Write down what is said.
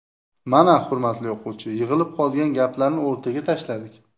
Mana, hurmatli o‘quvchi, yig‘ilib qolgan gaplarni o‘rtaga tashladik.